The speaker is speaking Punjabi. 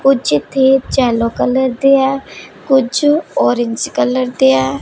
ਕੁੱਛ ਇੱਥੇ ਜੈੱਲੋ ਕਲਰ ਦੇ ਹੈਂ ਕੁੱਛ ਔਰੇਂਜ ਕਲਰ ਦੇ ਹੈਂ।